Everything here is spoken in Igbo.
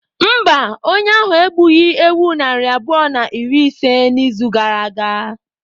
Mba, onye ahụ egbughị ewu narị abụọ na iri ise n'izu gara aga.